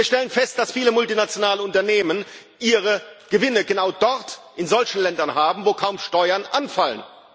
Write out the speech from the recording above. Wir stellen fest, dass viele multinationale Unternehmen ihre Gewinne genau dort, in solchen Ländern haben, wo kaum Steuern anfallen.